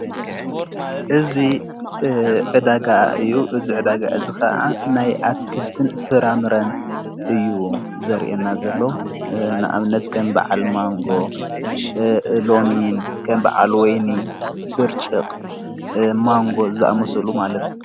እዝ ዕዳጋ እዩ እዝ ዕደጋ እዝ ኸዓ ናይ ኣትክልትን ፍራምረን እዩ ዘርአና ዘሎ ንኣብነት ከን በዓል ማንጎ ሎሚን ከም በዓሉ ወይኒ ብርጭቕ ማንጎ ዝኣመሰሉ ማለት::